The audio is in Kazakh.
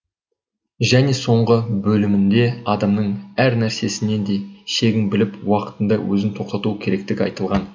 және соңғы бөлімінде адамның әр нәрсесіне де шегін біліп уақытында өзін тоқтатуы керектігі айтылған